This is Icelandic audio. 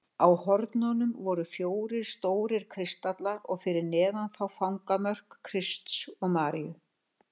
Á hornunum voru fjórir stórir kristallar og fyrir neðan þá fangamörk Krists og Maríu.